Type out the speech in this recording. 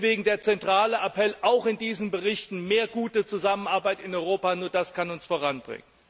Deswegen der zentrale Appell, auch in diesen Berichten Mehr gute Zusammenarbeit in Europa nur das kann uns voranbringen!